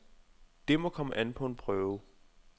Det må komme an på en prøve.